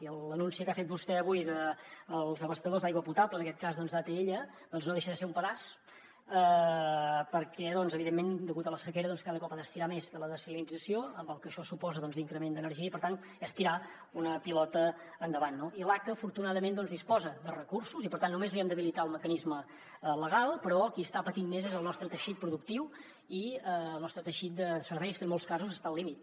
i l’anunci que ha fet vostè avui dels abastadors d’aigua potable en aquest cas doncs d’atl no deixa de ser un pedaç perquè evidentment degut a la sequera doncs ha d’estirar més de la dessalinització amb el que això suposa d’increment d’energia i per tant és tirar una pilota endavant no i l’aca afortunadament doncs disposa de recursos i per tant només li hem d’habilitar el mecanisme legal però qui està patint més és el nostre teixit productiu i el nostre teixit de serveis que en molts casos està al límit